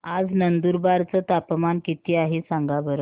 आज नंदुरबार चं तापमान किती आहे सांगा बरं